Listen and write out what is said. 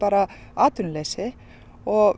atvinnuleysi og